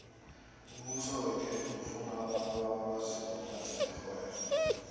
umbuso wekhethu ufuna abantu abakwaziko ukwenza irhwebo